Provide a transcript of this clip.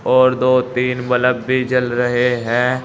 और दो दिन बल्ब भी जल रहे हैं।